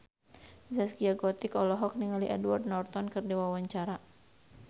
Zaskia Gotik olohok ningali Edward Norton keur diwawancara